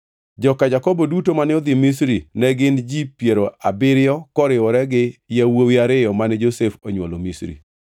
Joka Jakobo duto mane odhi Misri ne gin ji piero abiriyo koriwore gi yawuowi ariyo mane Josef onywolo Misri.